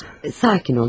Sakit ol canım.